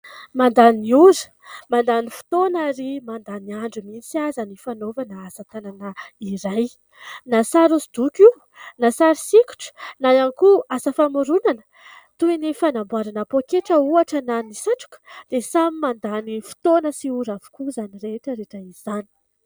Mandany ora, mandany fotoana ary mandany andro mihitsy aza ny fanaovana asa-tanana iray, na sary hosodoko io, na sary sikotra, na ihany koa asa famoronana toy fanamborana pôketra ohatra na ny satroka dia samy mandany fotoana sy ora avokoa izany rehetraretra izany.